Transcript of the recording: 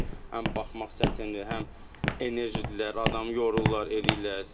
Həm baxmaq çətindir, həm enerjidirlər, adamı yorurlar, eləyirlər.